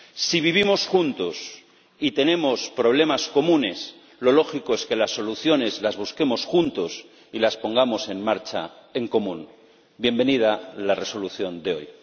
Si vivimos juntos y tenemos problemas comunes, lo lógico es que las soluciones las busquemos juntos y las pongamos en marcha en común. Bienvenida la resolución de hoy.